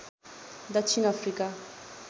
दक्षिण अफ्रिका